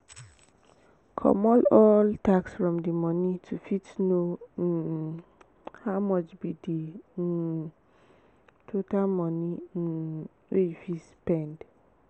comot all tax from di moni to fit know um how much be di um total money um wey you fit spend